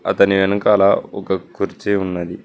అతని వెనకాల ఒక కుర్చీ ఉన్నది.